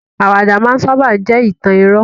Àwàdà máa n sábà jẹ́ ìtàn irọ́